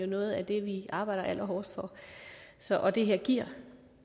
noget af det vi arbejder allerhårdest for og det her giver